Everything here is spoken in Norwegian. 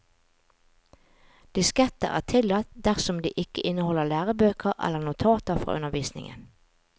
Disketter er tillatt dersom de ikke inneholder lærebøker eller notater fra undervisningen.